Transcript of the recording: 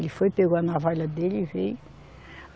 Ele foi, pegou a navalha dele e veio.